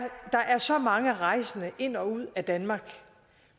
mange rejsende ind og ud af danmark